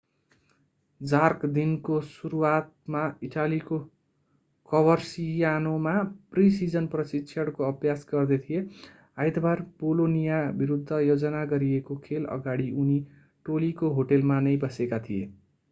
jerk दिनको सुरुवातमा इटालीको कभरसियानोमा प्रि-सिजन प्रशिक्षणको अभ्यास गर्दै थिए आइतबार बोलोनिया विरूद्ध योजना गरिएको खेल अगाडि उनी टोलीको होटलमा नै बसेका थिए